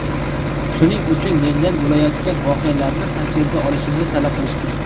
Shuning uchun mendan bo‘layotgan voqealarni tasvirga olishimni talab qilishdi.